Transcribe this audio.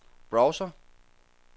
browser